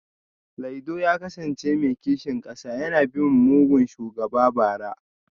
Laido ya kasance mai kishin kasa yana bin mugun shugaba bara